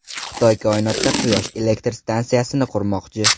Xitoy koinotda quyosh elektr stansiyasini qurmoqchi.